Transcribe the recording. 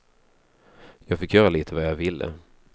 Jag fick göra lite vad jag ville.